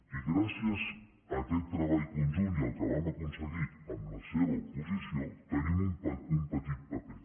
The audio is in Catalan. i gràcies a aquest treball conjunt i al que vam aconseguir amb la seva oposició tenim un petit paper